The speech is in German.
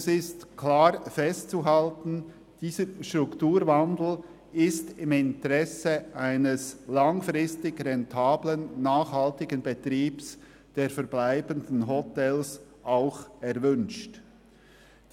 Es ist klar festzuhalten, dass der Strukturwandel im Interesse eines langfristig rentablen und nachhaltigen Betriebs der verbleibenden Hotels erwünscht ist.